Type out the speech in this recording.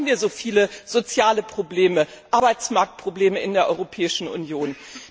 Warum haben wir so viele soziale Probleme, Arbeitsmarktprobleme in der Europäischen Union?